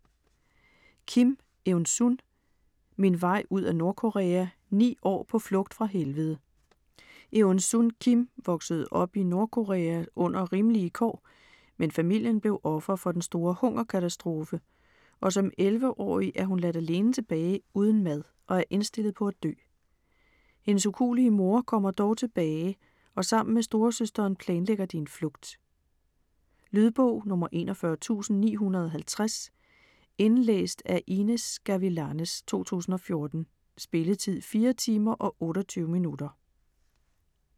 Kim, Eunsun: Min vej ud af Nordkorea: ni år på flugt fra helvede Eunsun Kim voksede op i Nordkorea under rimelige kår, men familien blev offer for den store hungerkatastrofe, og som 11-årig er hun ladt alene tilbage uden mad og er indstillet på at dø. Hendes ukuelige mor kommer dog tilbage og sammen med storesøsteren planlægger de en flugt. Lydbog 41950 Indlæst af Inez Gavilanes, 2014. Spilletid: 4 timer, 28 minutter.